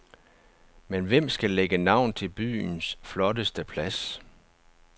Men hvem skal lægge navn til byens flotteste plads?